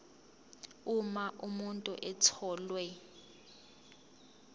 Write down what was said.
uma umuntu etholwe